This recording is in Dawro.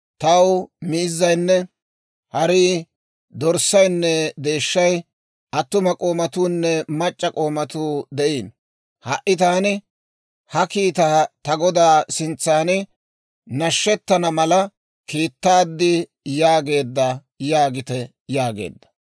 Taw miizzaynne harii, dorssaynne deeshshay, attuma k'oomatuunne mac'c'a k'oomatuu de'iino; ha"i taani ha kiitaa ta godaa sintsaan nashettana mala kiittaad» yaageedda› yaagite» yaageedda.